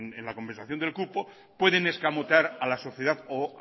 en la conversación del cupo pueden escamotear a la sociedad o